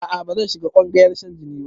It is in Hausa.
A'a bazan shiga ƙungayar shan jini ba